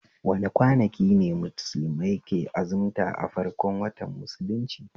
Wane kwanaki ne musulmai ke azimta a farkon watan musulunci?